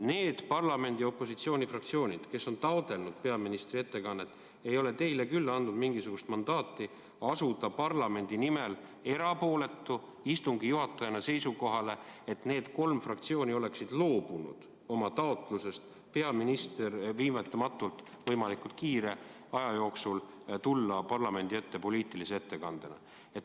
Need parlamendi opositsioonifraktsioonid, kes on taotlenud peaministri ettekannet, ei ole teile küll andnud mingisugust mandaati asuda parlamendi nimel erapooletu istungi juhatajana seisukohale, nagu need kolm fraktsiooni oleksid loobunud oma taotlusest, et peaminister viivitamatult, võimalikult kiire aja jooksul tuleks parlamendi ette poliitilise ettekandega.